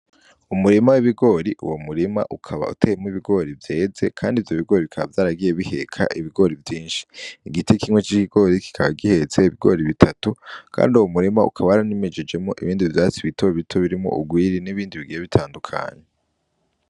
Umurima w'ibigori, uwo murima ukaba uteyemwo ibigori vyeze, kandi ivyo bigori bikaba vyaragiye biheka ibigori vyinshi, igiti kimwe c'ikigori kikaba gihetse ibigori bitatu, kandi uwo murima ukaba waranimejejemwo ibindi vyatsi bito bito birimwo ugwiri, n'ibindi bigiye bitandukanye.